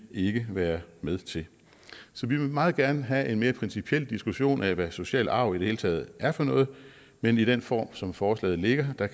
ikke være med til så vi vil meget gerne have en mere principiel diskussion af hvad social arv i det hele taget er for noget men i den form som forslaget ligger